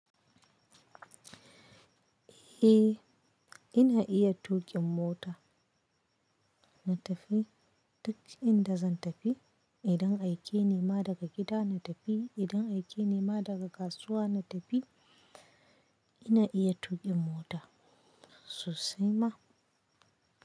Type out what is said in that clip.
Eh, ina iya tuƙin mota. Na tafi duk inda zan tafi. Adun ga aikeni ma daga gida, na tafi. Idan aiki nima daga kasuwa, na tafi. Ina iya tuƙin mota sosai ma.